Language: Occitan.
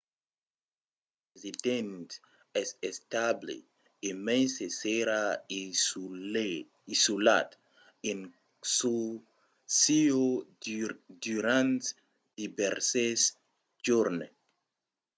l'estat del president es estable e mai se serà isolat en çò sieu durant divèrses jorns